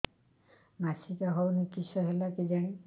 ମାସିକା ହଉନି କିଶ ହେଲା କେଜାଣି